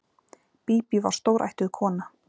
Bíbí var stórættuð kona.